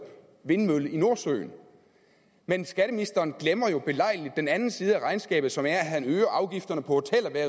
vindmølle i nordsøen men skatteministeren glemmer jo belejligt den anden side af regnskabet som er at han øger afgifterne på